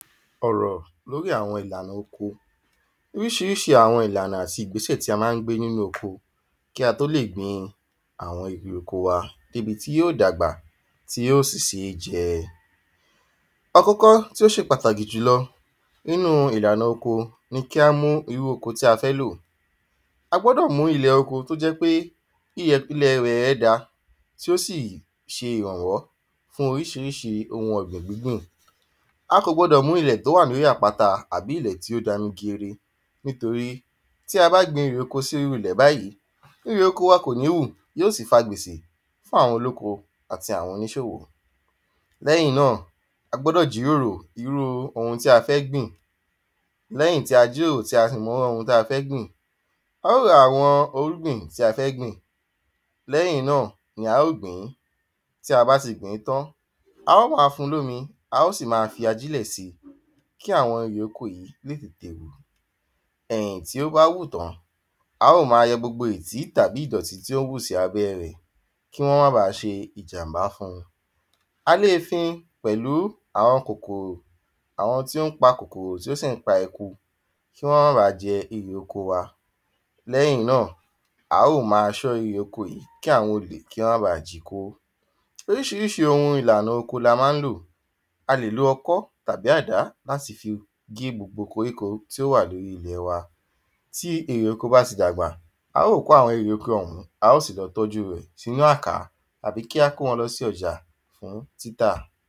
Ọ̀rọ̀ l’órí àwọn ìlànà Oríṣiríṣi àwon ìlànà àti ìgbésè tí a má ń gbé n'ínú oko kí a tó lè gbin àwọn erè oko wa débi tí yó dàgbà tí ó sì sé jẹ. Àkọ́kọ́ tí ó ṣe pàtàkì jùlọ ninu ìlanà oko ni kí a mú irú oko tí a fẹ́ lò A gbọ́dọ̀ mú oko t'ó jẹ́ pé iyẹ̀ ìpilẹ̀ rẹ̀ ẹ́ da tí ó sì ṣe ìrànwọ́ fún oríṣiríṣi ohun ọ̀gbìn gbíngbìn. A kọ̀ gbọdọ̀ mú ilẹ̀ t’ó wà l’órí àpáta àbí ilẹ̀ t’ó dami juru nítorí tí a bá gbin erè oko sí irú ilẹ̀ báyí erè oko wa kò ní wù yí ó sì fa gbèsé fún àwọn olóko àti àwọn oníṣòwò L’ẹ́yìn náà, a gbọ́dọ̀ jíròrò irú ohun tí a fẹ́ gbìn. L’ẹ́yìn tí a jíròrò tí a sì mọ irú ohun tí a fẹ́ gbìn, a ó ra àwọn irúgbìn tí a fẹ́ gbìn. L’ẹ́yìn náà ni a ó gbìn-ín. Tí a bá ti gbìn-ín tán, a ó ma fun l’ómi, a ó sì ma fi ajílẹ̀ si. Kí àwọn erè oko yí lè gbìn Ẹ̀yìn tí ó bá wù tán, a ó ma yọ gbogbo ìtí tàbí ìdọ̀tí tí ó bá wù sí abẹ́ rẹ̀ kí wọ́n má ba à ṣe ìjàmbá fun A lé fin pẹ̀lú àwọn Àwọn tí pa kòkòrò t’ó sì ń pa eku kí wọ́n má ba à jẹ erè oko wa L’ẹ́yìn náà, a ó ma ṣọ́ erè oko yí kí àwọn olè kí wọ́n ma bà ji kó Oríṣiríṣi ohun ìlànà oko ni a má ń lò A lè lo ọkọ́ tàbí àdá l'áti fi gé gbogbo korí ko tí ó wà l’órí ilẹ̀ wa. Tí erè oko bá ti dàgbà, a ó kó àwọn erè oko ọ̀hun, a ́ sì lọ tọ́jú rẹ̀ s’ínú àkà àbí kí a kó wọn lọ sí ọjà fún títà.